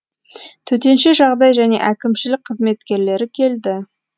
төтенше жағдай және әкімшілік қызметкерлері келді